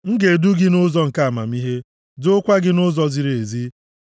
M ga-edu gị nʼụzọ nke amamihe, duokwa gị nʼụzọ ziri ezi.